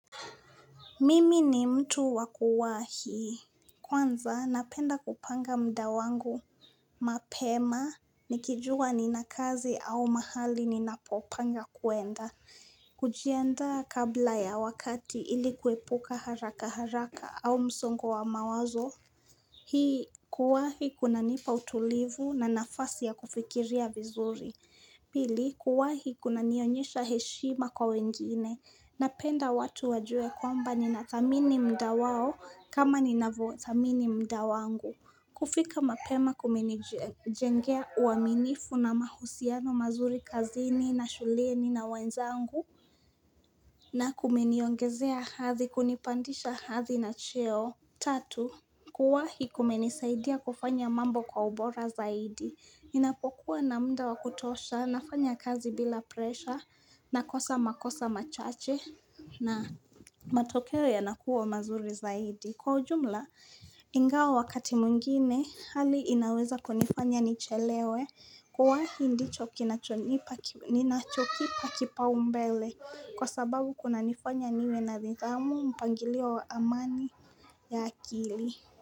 Mimi ni mtu wakuwahi. Kwanza napenda kupanga muda wangu, mapema, nikijua nina kazi au mahali ninapopanga kwenda, kujiandaa kabla ya wakati ilikuepuka haraka haraka au msongo wa mawazo. Hii kuwahi kunanipa utulivu na nafasi ya kufikiria vizuri Pil, kuwahi kunanionyesha heshima kwa wengine. Napenda watu wajue kwamba ninathamini muda wao kama ninavyo thamini muda wangu. Kufika mapema kuminijengea uaminifu na mahusiano mazuri kazini na shulieni na wenzangu na kumeniongezea hadhi kunipandisha hadhi na cheo. Tatu, kuwahi kumenisaidia kufanya mambo kwa ubora zaidi, ninapokuwa na muda wakutosha, nafanya kazi bila presha, na kosa makosa machache, na matokeo yanakuwa mazuri zaidi, kwa ujumla, ingawa wakati mwingine, hali inaweza kunifanya nichelewe, kuwahi ndicho ninachokipa kipau mbele Kwa sababu kunanifanya niwe na nithamu mpangilio wa amani ya akili.